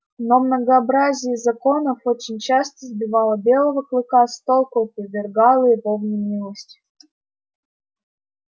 но многообразие законов очень часто сбивало белого клыка с толку и повергало его в немилость